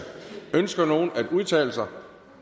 ønsker nogen at udtale sig